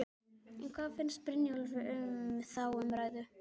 En hvað finnst Brynjólfi um þá umræðu?